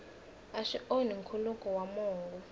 swi onhi nkhuluko wa mongo